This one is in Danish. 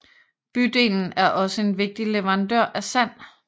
Bydelen er også en vigtig leverandør af sand